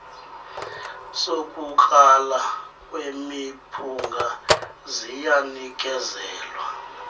sokukrala kwemiphunga ziyanikezelwa